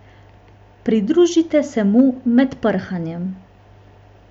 Pridružite se mu med prhanjem.